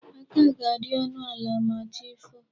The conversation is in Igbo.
Aka ga-adi ọnụ ala ma chi foo.